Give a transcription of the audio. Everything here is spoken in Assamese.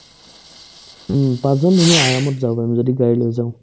উম্, পাচজন ধুনীয়াকৈ আৰামত যাব পাৰিম যদি গাড়ী লৈ যাও